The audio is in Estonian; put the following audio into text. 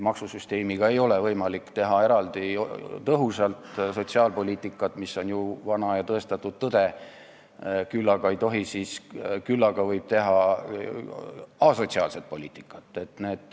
Maksusüsteemiga ei ole võimalik teha eraldi tõhusat sotsiaalpoliitikat, mis on ju vana ja tõestatud tõde, küll aga võib teha asotsiaalset poliitikat.